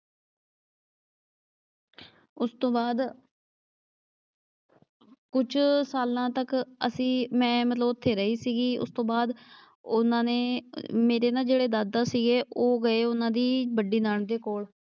ਉਸ ਤੋਂ ਬਾਅਦ ਕੁਛ ਸਾਲਾਂ ਤੱਕ ਅਸੀਂ ਮੈਂ ਮਤਲਬ ਉੱਥੇ ਰਹੀ ਸੀਗੀ। ਉਸ ਤੋਂ ਬਾਅਦ ਉਨ੍ਹਾਂ ਨੇ ਮੇਰੇ ਨਾ ਜਿਹੜੇ ਦਾਦਾ ਸੀਗੇ ਉਹ ਗਏ ਉਨ੍ਹਾਂ ਦੀ ਵੱਡੀ ਨਣਦ ਦੇ ਕੋਲ,